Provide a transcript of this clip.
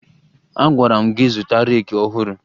Agwara m gị zụta reeki ọhụrụ!